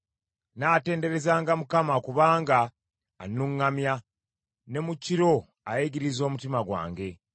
Nnaatenderezanga Mukama kubanga annuŋŋamya ne mu kiro ayigiriza omutima gwange.